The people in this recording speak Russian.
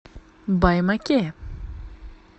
баймаке